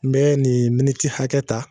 N bee nin miniti hakɛ ta